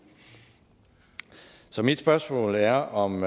så mit spørgsmål er om